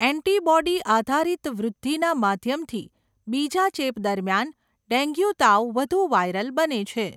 Antibody આધારિત વૃદ્ધિના માધ્યમથી બીજા ચેપ દરમિયાન ડેન્ગ્યુ તાવ વધુ વાયરલ બને છે.